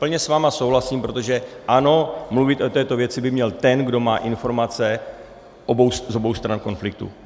Plně s vámi souhlasím, protože ano, mluvit o této věci by měl ten, kdo má informace z obou stran konfliktu.